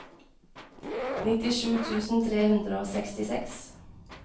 nittisju tusen tre hundre og sekstiseks